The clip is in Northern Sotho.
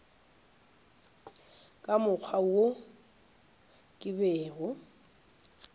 ka mokgwa wo ke bego